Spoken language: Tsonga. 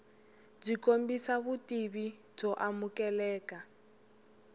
byi kombisa vutivi byo amukeleka